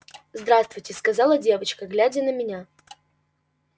здравствуйте сказала девочка глядя на меня